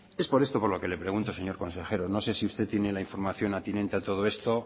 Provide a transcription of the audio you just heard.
es por esto por lo que le pregunto señor consejero no sé si usted tiene la información atinente a todo esto